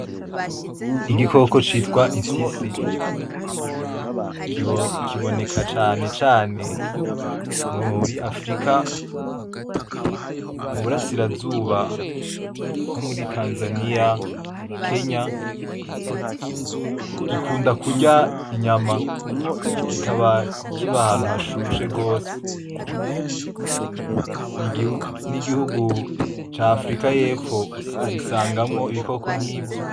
Igikoko citwa ifyisi kiboneka canecane muri afurika mu burasirazuba nko muri tanzaniya, kenya .gikunda kurya inyama. kikaba kiba ahantu hashushe gose n’igihugu c’afurika yepfo ubisangamwo ibikoko nk’ivyo.